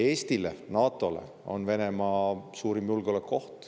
Eestile ja NATO‑le on Venemaa suurim julgeolekuoht.